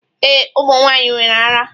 Ee, ụmụ nwanyị nwere ara.